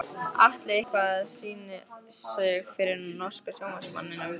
Atli eitthvað að sýna sig fyrir norska sjónvarpsmanninum?